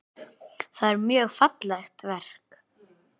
Það er mjög fallegt verk.